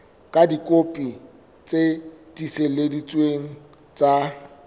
ka dikopi tse tiiseleditsweng tsa